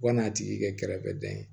U ka n'a tigi kɛ kɛrɛfɛdɛn